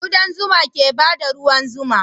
Kudan zuma ke bada ruwan zuma